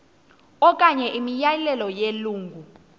okanye imiyalelo yelungu